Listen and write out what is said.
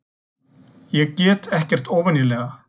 Ég get ekkert óvenjulega.